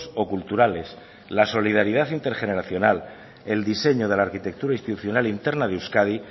o culturales la solidaridad intergeneracional el diseño de la arquitectura institucional interna de euskadi